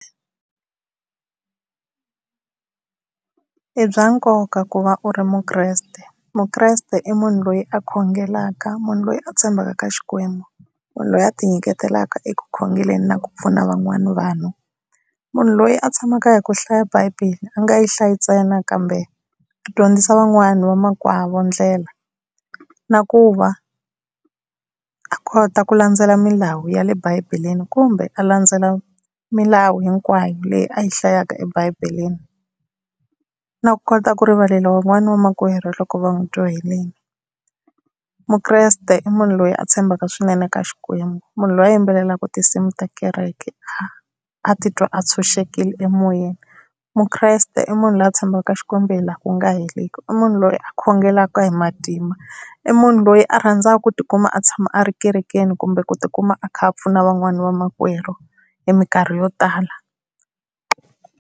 I bya nkoka ku va u ri muKreste, muKreste i munhu loyi a khongelaka munhu loyi a tshembaka ka Xikwembu, munhu loyi a ti nyiketelaka eku khongelela na ku pfuna van'wana vanhu munhu loyi a tshamaka hi ku hlaya bibele a nga yi hlaya ntsena kambe a dyondzisa van'wani va makwavo ndlela na ku va a kota ku landzelela milawu ya le bibeleni kumbe a landzelela milawu hinkwayo leyi a yi hlayaka ebibeleni na ku kota ku rivalela van'wana va makwerhu loko va n'wi johelini. MuKreste i munhu loyi a tshembaka swinene ka Xikwembu munhu loyi a yimbelelaka tinsimu ta kereke a a titwa a tshunxekile emoyeni, muKreste i munhu loyi a tshembeka Xikwembu hi laha ku nga heriki i munhu loyi a khongelaka hi matimba i munhu loyi a rhandzaka ku tikuma a tshama a ri ekerekeni kumbe ku tikuma a kha a pfuna van'wana va makwerhu hi minkarhi yo tala.